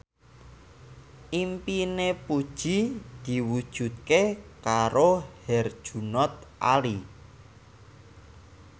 impine Puji diwujudke karo Herjunot Ali